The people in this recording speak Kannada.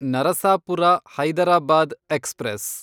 ನರಸಾಪುರ ಹೈದರಾಬಾದ್ ಎಕ್ಸ್‌ಪ್ರೆಸ್